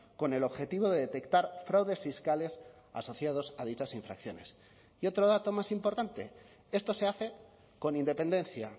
con el objetivo de detectar fraudes fiscales asociados a dichas infracciones y otro dato más importante esto se hace con independencia